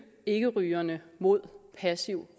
ikkerygerne mod passiv